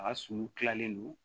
A ka sulu kilalen don